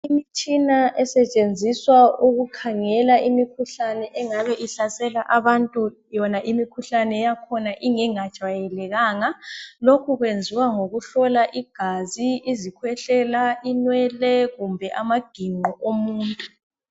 Imitshina esetshenziswa ukukhangela imikhuhlane engabe ihlasela abantu yona imikhuhlane yakhona ingengajwayelekanga, lokhu kwenziwa ngokuhlola igazi, izikhwehlela, inwele kumbe amagingqo omuntu.